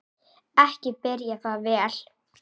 Ekki byrjaði það vel!